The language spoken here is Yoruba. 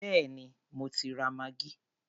Béèni mo ti ra maggi.